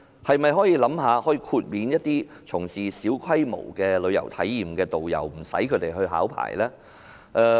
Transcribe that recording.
是否可考慮豁免從事小規模旅遊體驗的導遊無須考牌呢？